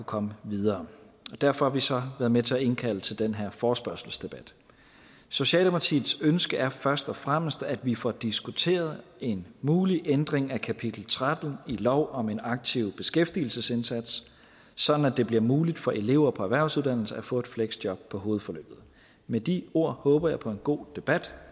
komme videre og derfor har vi så været med til at indkalde til den her forespørgselsdebat socialdemokratiets ønske er først og fremmest at vi får diskuteret en mulig ændring af kapitel tretten i lov om en aktiv beskæftigelsesindsats sådan at det bliver muligt for elever på erhvervsuddannelser at få et fleksjob på hovedforløbet med de ord håber jeg på en god debat